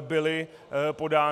byly podány.